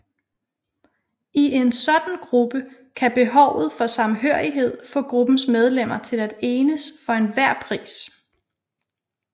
I en sådan gruppe kan behovet for samhørighed få gruppens medlemmer til at enes for enhver pris